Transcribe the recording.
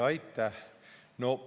Aitäh!